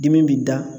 Dimi bi da